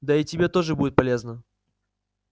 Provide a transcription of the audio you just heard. да и тебе тоже будет полезно